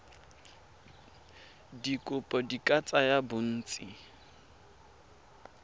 dikopo di ka tsaya bontsi